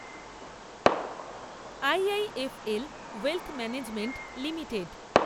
I. I. F. L wealth management limited